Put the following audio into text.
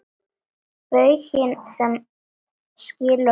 Bauginn sem skilur okkur að.